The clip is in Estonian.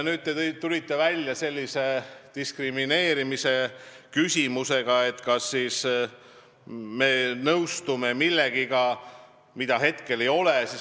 Nüüd te tulite välja diskrimineerimisküsimusega, et kas me nõustume millegagi, mida meil ei ole.